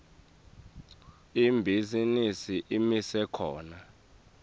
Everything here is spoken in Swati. ibhizinisi imise khona